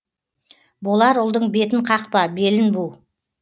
болар ұлдың бетін қақпа белін бу